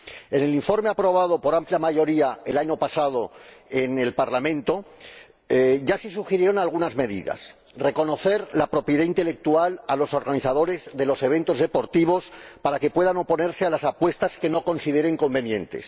En el informe aprobado por amplia mayoría el año pasado en el Parlamento ya se sugirieron algunas medidas reconocer la propiedad intelectual a los organizadores de los eventos deportivos para que puedan oponerse a las apuestas que no consideren convenientes